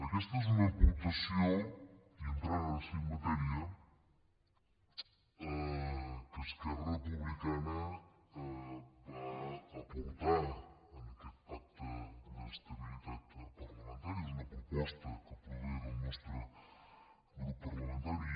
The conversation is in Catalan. aquesta és una aportació i entrant ara sí en matèria que esquerra republicana va aportar a aquest pacte d’estabilitat parlamentària és una proposta que prové del nostre grup parlamentari